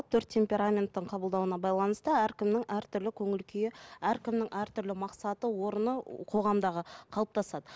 төрт темпераменттің қабылдауына байланысты әркімнің әртүрлі көңіл күйі әркімнің әртүрлі мақсаты орны қоғамдағы қалыптасады